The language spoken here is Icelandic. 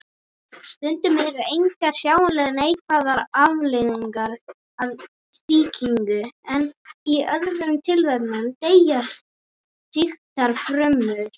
Stundum eru engar sjáanlegar neikvæðar afleiðingar af sýkingu en í öðrum tilvikum deyja sýktar frumur.